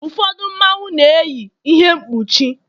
ụfọdụ Mmanwu na-eyi ihe mkpuchi